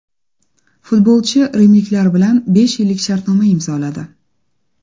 Futbolchi rimliklar bilan besh yillik shartnoma imzoladi.